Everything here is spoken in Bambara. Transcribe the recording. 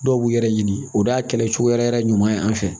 Dɔw b'u yɛrɛ ɲini o d'a kɛlɛcogo yɛrɛ yɛrɛ ɲuman ye an fɛ